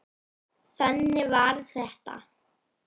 Þannig var þetta.